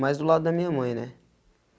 Mais do lado da minha mãe, né?